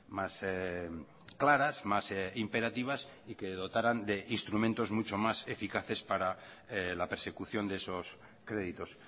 más claras más imperativas y que dotaran de instrumentos mucho más eficaces para la persecución de esos créditos